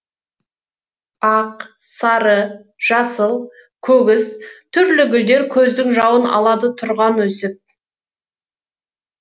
ақ сары жасыл көгіс түрлі гүлдеркөздің жауын алады тұрған өсіп